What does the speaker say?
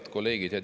Head kolleegid!